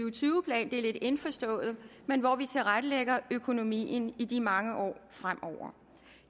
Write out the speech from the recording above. og tyve plan det er lidt indforstået hvor vi tilrettelægger økonomien i de mange år fremover